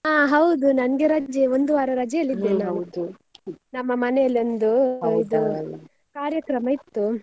ಹಾ ಹೌದು ನಂಗೆ ರಜೆ ಒಂದು ವಾರ ರಜೆಯಲ್ಲಿ ನಮ್ಮ ಮನೆಯಲ್ಲಿ ಒಂದು ಕಾರ್ಯಕ್ರಮ ಇತ್ತು.